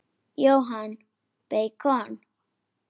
Jóhann: Beikon?